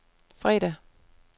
fredag